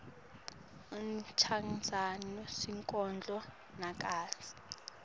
uchazani sonkondlo nakatsi